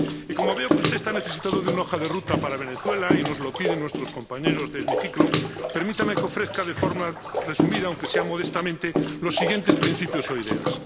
Y, como veo que usted está necesitado de una hoja de ruta para Venezuela, y nos lo piden nuestros compañeros de hemiciclo, permítame que ofrezca de forma resumida, aunque sea modestamente, los siguientes principios o ideas.